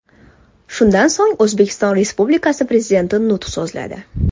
Shundan so‘ng, O‘zbekiston Respublikasi Prezidenti nutq so‘zladi.